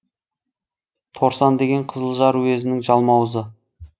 торсан деген қызылжар уезінің жалмауызы